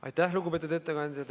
Aitäh, lugupeetud ettekandja!